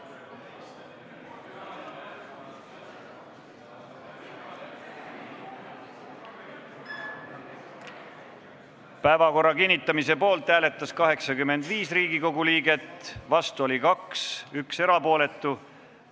Hääletustulemused Päevakorra kinnitamise poolt hääletas 85 Riigikogu liiget, vastu oli 2, 1 jäi erapooletuks.